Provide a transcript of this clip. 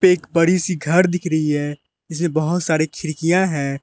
एक बड़ी सी घर दिख रही है इसमे बहोत सारी खिड़कियां है।